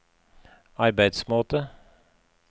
arbeidsmåte